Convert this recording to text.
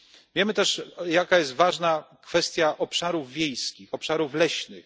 Wiemy też, jak ważna jest kwestia obszarów wiejskich, obszarów leśnych.